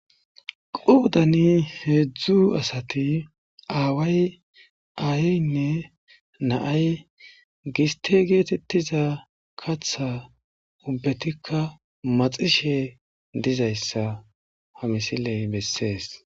qoudani heedzdzu asati aaway aayynne naay giste geetettiza katha ubbetikka maxishe dizayssa ha misiley bessees